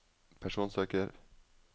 personsøker